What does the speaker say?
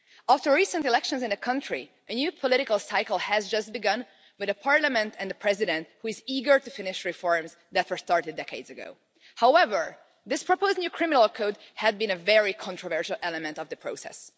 After recent elections in the country, a new political cycle has just begun, with a parliament and a president who is eager to finish reforms that were started decades ago. However, this proposed new criminal code had been a very controversial element of the process.